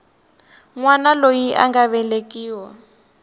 wana loyi a nga velekiwa